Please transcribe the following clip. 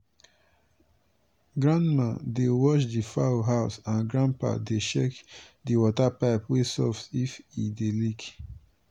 grandmama dey watch di fowl house and grandpapa dey check di water pipe wey soft if e dey leak.